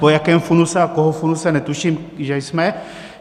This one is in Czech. Po jakém funuse a koho funuse netuším, že jsme.